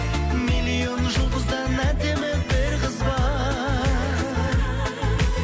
миллион жұлдыздан әдемі бір қыз бар